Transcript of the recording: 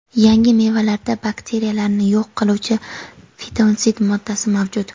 yangi mevalarda bakteriyalarni yo‘q qiluvchi fitonsid moddasi mavjud.